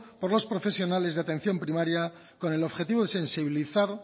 por los profesionales de atención primaria con el objetivo de sensibilizar